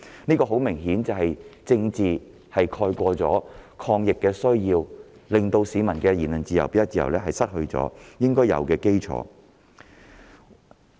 這顯然是政治目的蓋過抗疫需要，令市民失去行使言論自由、表達自由的應有基礎。